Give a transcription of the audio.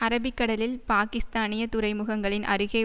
அரபிக்கடலில் பாக்கிஸ்தானிய துறைமுகங்களின் அருகே